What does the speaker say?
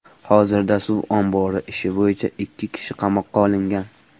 Hozirda suv ombori ishi bo‘yicha ikki kishi qamoqqa olingan .